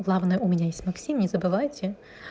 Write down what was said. главное у меня есть максим не забывайте